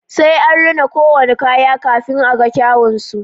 Sai an rina ko wani kaya kafin a ga kyun su